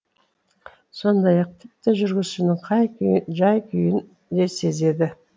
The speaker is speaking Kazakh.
сондай ақ тіпті жүргізушінің жай күйін де сезеді